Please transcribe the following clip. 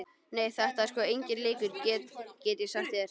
Nei, þetta er sko enginn leikur, get ég sagt þér.